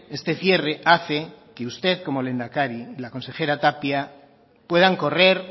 este cierre hace que usted como lehendakari la consejera tapia puedan correr